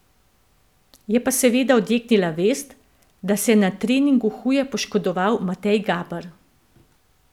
Je pa seveda odjeknila vest, da se je na treningu huje poškodoval Matej Gaber.